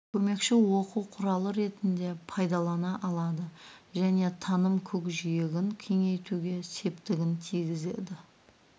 көмекші оқу құралы ретінде пайдалана алады және таным көкжиегін кеңейтуге септігін тигізеді